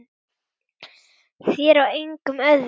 Þér og engum öðrum.